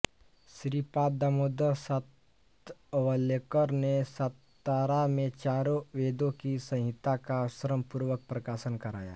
श्रीपाद दामोदर सातवलेकर ने सातारा में चारों वेदों की संहिता का श्रमपूर्वक प्रकाशन कराया